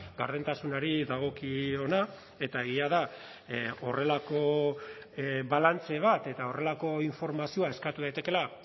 gardentasunari dagokiona eta egia da horrelako balantze bat eta horrelako informazioa eskatu daitekeela